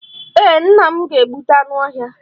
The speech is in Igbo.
Ee, nna m ga-egbute anụ ọhịa.